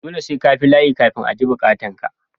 Dole sai kabi layi kafin a ji bukatan ka.